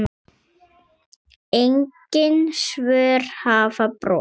Engin svör hafa borist.